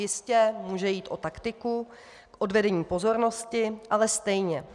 Jistě může jít o taktiku k odvedení pozornosti, ale stejně.